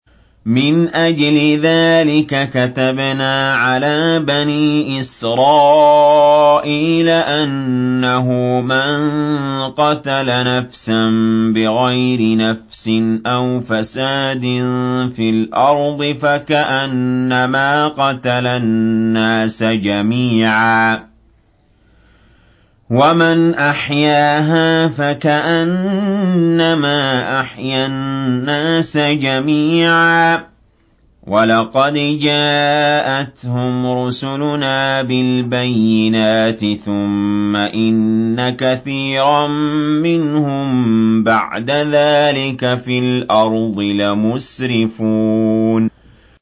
مِنْ أَجْلِ ذَٰلِكَ كَتَبْنَا عَلَىٰ بَنِي إِسْرَائِيلَ أَنَّهُ مَن قَتَلَ نَفْسًا بِغَيْرِ نَفْسٍ أَوْ فَسَادٍ فِي الْأَرْضِ فَكَأَنَّمَا قَتَلَ النَّاسَ جَمِيعًا وَمَنْ أَحْيَاهَا فَكَأَنَّمَا أَحْيَا النَّاسَ جَمِيعًا ۚ وَلَقَدْ جَاءَتْهُمْ رُسُلُنَا بِالْبَيِّنَاتِ ثُمَّ إِنَّ كَثِيرًا مِّنْهُم بَعْدَ ذَٰلِكَ فِي الْأَرْضِ لَمُسْرِفُونَ